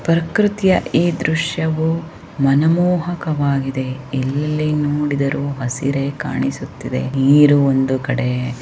ಪ್ರಕೃತಿಯ ಈ ದ್ರಶ್ಯವು ಮನಮೋಹಕವಾಗಿದೆ ಎಲ್ಲಿ ನೋಡಿದರು ಹಸಿರೇ ಕಾಣಿಸುತ್ತಿದೆ ನೀರು ಒಂದು ಕಡೆ --